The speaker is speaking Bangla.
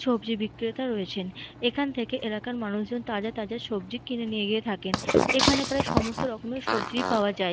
সবজি বিক্রেতা রয়েছেন। এখান থেকে এলাকার মানুষজন তাজা তাজা সবজি কিনে নিয়ে গিয়ে থাকেন। এখানে প্রায় সমস্ত রকমের সবজি পাওয়া যায়।